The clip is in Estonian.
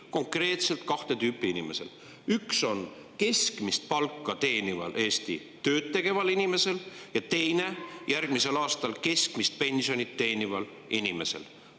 Just konkreetselt kahte tüüpi inimeste: keskmist palka teeniva, Eestis tööd tegeva inimese ja järgmisel aastal keskmist pensioni teeniva inimese.